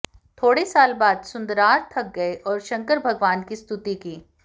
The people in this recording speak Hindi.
थोडे साल बाद सुन्दरार थक गए और शंकर भगवान की स्तुति की